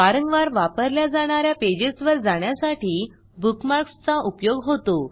वारंवार वापरल्या जाणा या पेजेसवर जाण्यासाठी बुकमार्कसचा उपयोग होतो